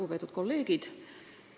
Lugupeetud kolleegid!